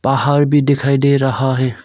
पहाड़ भी दिखाई दे रहा है।